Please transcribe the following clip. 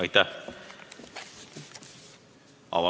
Aitäh!